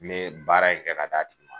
N be baara in kɛ ka d'a tigi ma